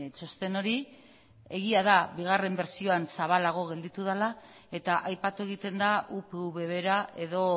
txosten hori egia da bigarren bertsioan zabalago geratu dela eta aipatu egiten da upv bera edo